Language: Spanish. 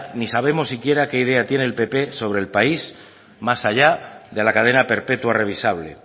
ni sabemos siquiera qué idea tiene el pp sobre el país más allá de la cadena perpetua revisable